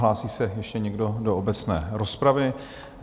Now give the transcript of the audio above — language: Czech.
Hlásí se ještě někdo do obecné rozpravy?